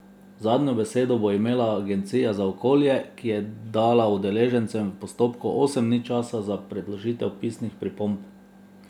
Zadnjo besedo bo imela agencija za okolje, ki je dala udeležencem v postopku osem dni časa za predložitev pisnih pripomb.